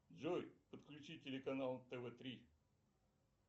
джой подключи телеканал тв три